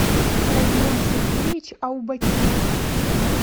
родион сергеевич аубакиров